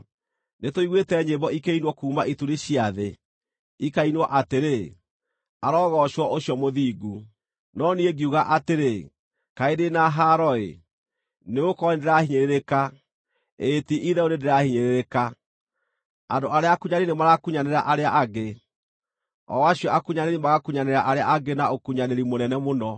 Nĩtũiguĩte nyĩmbo ikĩinwo kuuma ituri cia thĩ, ikainwo atĩrĩ: “Arogoocwo ũcio Mũthingu.” No niĩ ngiuga atĩrĩ, “Kaĩ ndĩ na haaro-ĩ! nĩgũkorwo nĩndĩrahiinyĩrĩrĩka, ĩĩ ti-itherũ nĩndĩrahiinyĩrĩrĩka! Andũ arĩa akunyanĩri nĩmarakunyanĩra arĩa angĩ, o acio akunyanĩri magakunyanĩra arĩa angĩ na ũkunyanĩri mũnene mũno!”